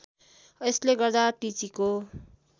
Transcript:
यसले गर्दा टिचीको